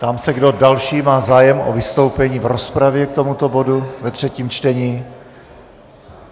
Ptám se, kdo další má zájem o vystoupení v rozpravě k tomuto bodu ve třetím čtení.